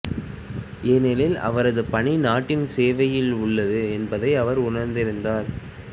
ஏனெனில் அவரது பணி நாட்டின் சேவையில் உள்ளது என்பதை அவர் உணர்ந்திருந்தார்